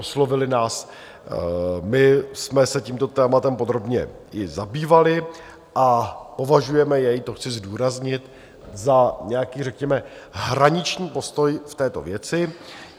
Oslovili nás, my jsme se tímto tématem podrobně i zabývali a považujeme jej - to chci zdůraznit - za nějaký řekněme hraniční postoj v této věci.